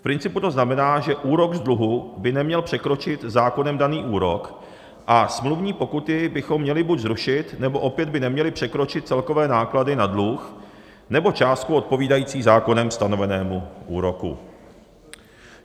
V principu to znamená, že úrok z dluhu by neměl překročit zákonem daný úrok a smluvní pokuty bychom měli buď zrušit, nebo opět by neměly překročit celkové náklady na dluh nebo částku odpovídající zákonem stanovenému úroku.